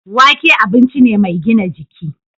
Wake abinci ne mai gina jiki.